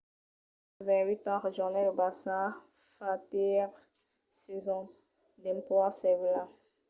vidal de 28 ans rejonhèt lo barça fa tres sasons dempuèi sevilla